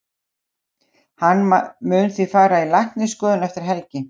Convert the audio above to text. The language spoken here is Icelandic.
Hann mun því fara í læknisskoðun eftir helgi.